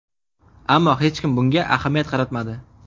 Ammo hech kim bunga ahamiyat qaratmadi.